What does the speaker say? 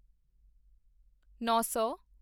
ਨੌਂ ਸੌ